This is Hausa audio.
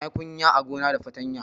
Na yi kunya a gona da fatanya